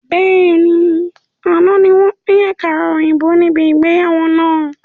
Bẹ́ẹ̀ni, àná ni wọn pin àkàrà òyìnbó níbi ìgbéyàwó náà.